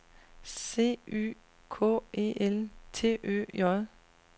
C Y K E L T Ø J